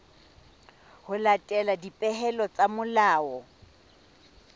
ho latela dipehelo tsa molao